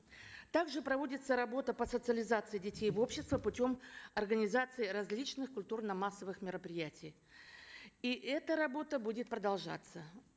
также проводится работа по социализации детей в общество путем организации различных культурно массовых мероприятий и эта работа будет продолжаться